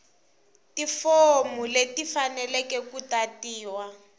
tifomu leti tifaneleke ku tatiwa